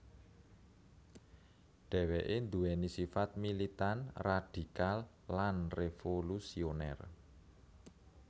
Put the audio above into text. Dheweke nduweni sifat militan radikal lan revolusioner